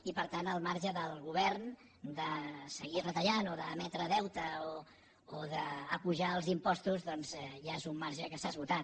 i per tant el marge del govern de seguir retallant o d’emetre deute o d’apujar els impostos doncs ja és un marge que s’ha esgotat